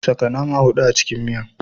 Saka nama hudu a cikin miya